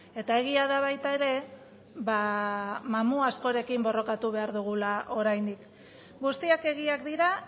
eta egia da baita ere ba mamu askorekin borrokatu behar dugula oraindik guztiak egiak dira